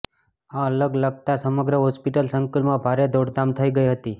આ આગ લાગતા સમગ્ર હોસ્પિટલ સંકુલમાં ભારે દોડધામ થઇ ગઇ હતી